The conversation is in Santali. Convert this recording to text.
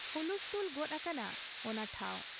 ᱦᱩᱞᱛᱷᱩᱞ ᱜᱚᱫ ᱟᱠᱟᱱᱟ ᱚᱱᱟ ᱴᱷᱟᱶ ᱾